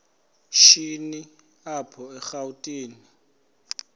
shini apho erawutini